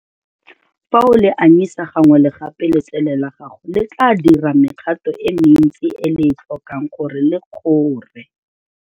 Fa o le anyisa gangwe le gape letsele la gago le tla dira mekgato e mentsi e le e tlhokang gore le kgore.